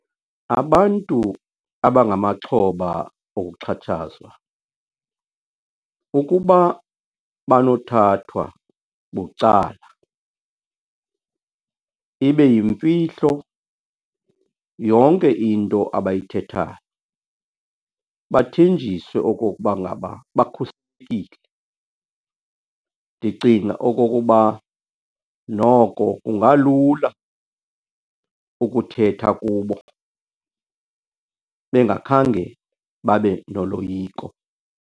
Abantu abangamaxhoba okuxhatshazwa, ukuba banothathwa bucala ibe yimfihlo yonke into abayithethayo, bathenjiswe okokuba ngaba bakhuselekile, ndicinga okokuba noko kungalula ukuthetha kubo bengakhange babe noloyiko.